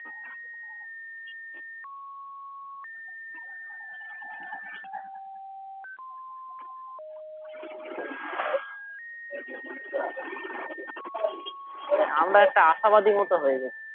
আমরা একটা আশাবাদী মতো হয়ে গেছি